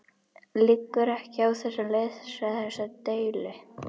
Liggur ekki á að leysa þessa deilu?